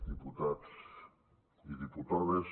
diputats i diputades